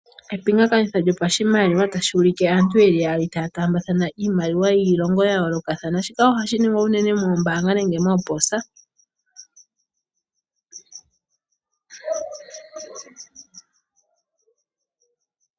Epingakanitho lyoshimaliwa tali ulike aantu yeli yaali ta tambathana iimaliwa yiilongo ya yolokathana. Shika ohashi ningwa uunene moombanga nenge mooposa.